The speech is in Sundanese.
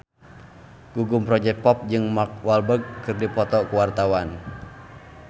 Gugum Project Pop jeung Mark Walberg keur dipoto ku wartawan